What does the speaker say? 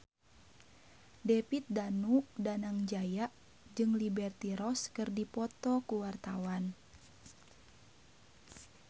David Danu Danangjaya jeung Liberty Ross keur dipoto ku wartawan